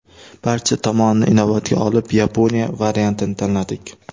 Barcha tomonini inobatga olib, Yaponiya variantini tanladik.